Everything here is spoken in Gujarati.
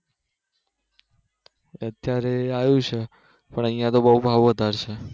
અત્યારે આવ્યું છે પણ અહિયાં તો બઉ ભાવ વધારે છે